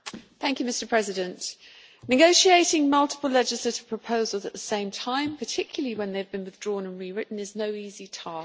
Mr President, negotiating multiple legislative proposals at the same time, particularly when they have been withdrawn and rewritten, is no easy task.